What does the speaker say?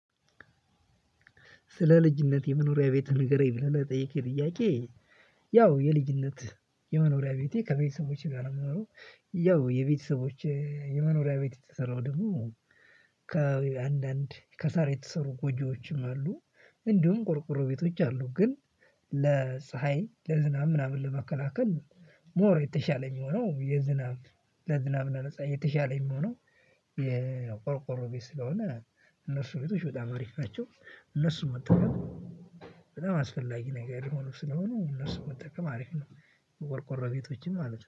ስለ ልጅነቴ የመኖሪያ ቤት ንገረኝ ብለህ ለጠየከኝ ጥያቄ። ያው የልጅነት የመኖሪያ ቤቴ ከቤተሰቦቼ ጋር ነው የምኖረው። ያው የቤተሰቦቼ የመኖሪያ ቤት የተሰራው ደግሞ። ከአንዳንድ ከሳር የተሰሩ ጎጆዎችም አሉ። እንዲሁም ቆርቆሮ ቤቶች አሉ ግን ለፀሀይ ለዝናብ ምናምን ለመከላከል። ሞር የተሻለ የሚሆነው የዝናብ ለዝናብ እና ለፀሀይ የተሻለ የመሆኑ የቆርቆሮ ቤት ስለሆነ። እነሱ ቤቶች በጣም አሪፍ ናቸው። እነሱም የምትጠቀመው በጣም አስፈላጊ ነገር የሆኑ ስለሆኑ እነሱን መጠቀም አሪፍ ነው። ቆርቆሮ ቤቶችን ማለት ነው